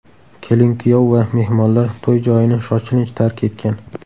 Kelin-kuyov va mehmonlar to‘y joyini shoshilinch tark etgan.